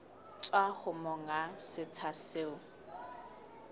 tswa ho monga setsha seo